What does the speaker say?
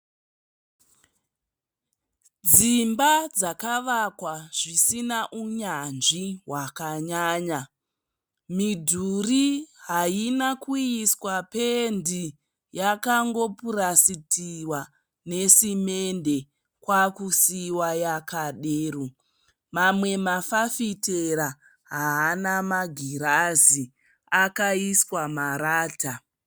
Dzimba dzakavakwa zvisina unyanzvi hwakanyanya. Midhuri haina kuiswa pendi. Yakangopurasitiwa nesemende kwakusiiwa yakadero. Mamwe mafafitera haana magirazi akaiswa marata.